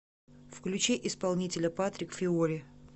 включи исполнителя патрик фиори